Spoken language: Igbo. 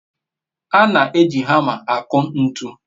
a na-eji hama aku ntu